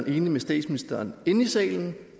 enig med statsministeren inde i salen